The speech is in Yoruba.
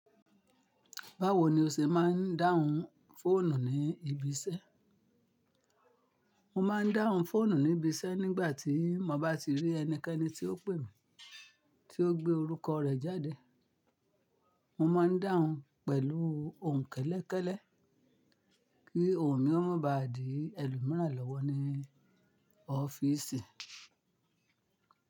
Báwo ni o ṣe máa ń dáhùn fóònù ní ibiṣẹ́? Mo ma ń dáhùn fóònù ní ibi iṣẹ́ nígbàtí mo bá ti rí ẹnikẹ́ni tí ó pè mí, tí ó gbé orúkọ rẹ̀ jáde. Mo máa ń dáhùn pẹ̀lú ohùn kẹ́lẹ́kẹ́lẹ́ kí ohùn mi ó má ba di ẹlòmíràn lọ́wọ́ ní ọ́fíìsì.